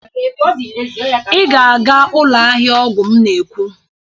Ị ga-aga ụlọ ahịa ọgwụ m na-ekwu!